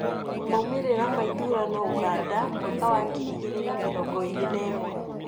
Maumĩrĩra ma ithurano Ũganda mwaka wa ngiri igĩrĩ na mĩrngo ĩrĩ na ĩmwe